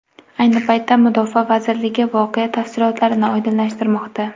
Ayni paytda mudofaa vazirligi voqea tafsilotlarini oydinlashtirmoqda.